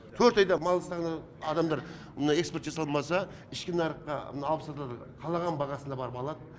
төрт айда мал саны адамдар мына экспорт жасалмаса ішкі нарыққа мына алып сатар қалаған бағасына барып алады